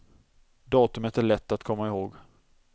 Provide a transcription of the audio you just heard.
Datumet är lätt att komma ihåg.